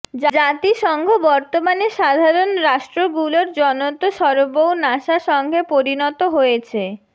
জাতি সংষ বৎমানে সাধারণ রাষ্টৄ গুলোর জনৎ সরবৌ নাশা সংষে পরিণতো হযেছে